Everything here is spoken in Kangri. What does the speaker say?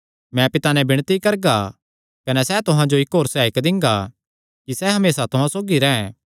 मैं पिता नैं विणती करगा कने सैह़ तुहां जो इक्क होर सहायक दिंगा कि सैह़ हमेसा तुहां सौगी रैंह्